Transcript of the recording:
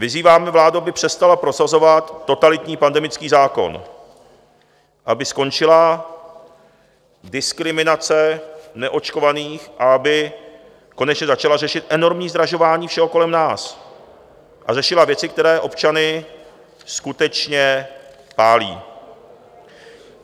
Vyzýváme vládu, aby přestala prosazovat totalitní pandemický zákon, aby skončila diskriminace neočkovaných, aby konečně začala řešit enormní zdražování všeho kolem nás a řešila věci, které občany skutečně pálí.